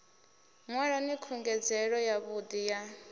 nwalani khungedzelo ya vhudi ya